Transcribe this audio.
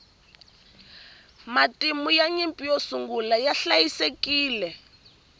matimu ya nyimpi yo sungula ya hliayisekile